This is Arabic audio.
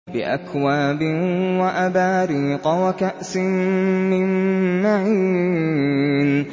بِأَكْوَابٍ وَأَبَارِيقَ وَكَأْسٍ مِّن مَّعِينٍ